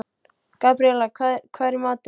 Gabríela, hvað er í matinn?